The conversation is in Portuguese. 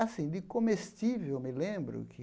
Assim, de comestível, me lembro que...